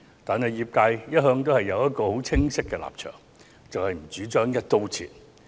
不過，業界一向持清晰的立場，便是業界不主張"一刀切"。